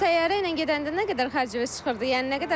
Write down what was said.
Təyyarə ilə gedəndə nə qədər xərciniz çıxırdı, yəni nə qədər fərq eləyir?